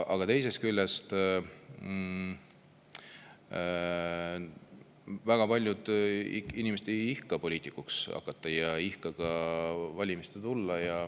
Aga teisest küljest, väga paljud inimesed ei ihka poliitikuks hakata, ei ihka valimistele tulla.